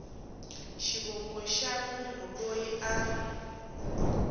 xivongo xa munhu loyi a